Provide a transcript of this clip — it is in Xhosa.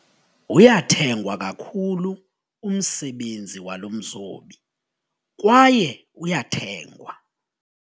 Uyathengwa kakhulu umsebenzi walo mzobi kwaye uyathengwa.